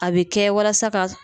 A bɛ kɛ walasa ka